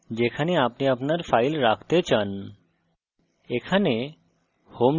স্থান browse করুন যেখানে আপনি আপনার file রাখতে চান